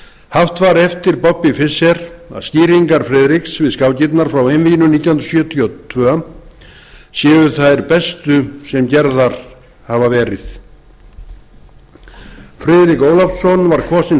haft var eftir bobby fischer að skýringar friðriks við skákirnar frá einvíginu nítján hundruð sjötíu og tvö séu þær bestu sem gerðar hafa verið friðrik ólafsson var kosinn